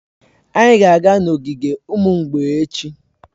Anyị ga-aga n'ogige ụmụ mgbei echi.